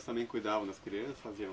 também cuidavam das crianças, faziam